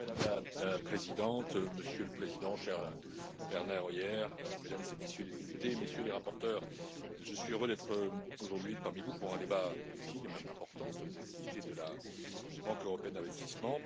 Madame la Présidente, Monsieur le Président, cher Werner Hoyer, Mesdames et Messieurs les députés, Messieurs les rapporteurs, je suis heureux d'être aujourd'hui parmi vous pour un débat utile et même important sur les activités de la Banque européenne d'investissement.